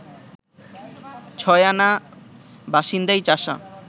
ছয় আনা বাসিন্দাই চাষা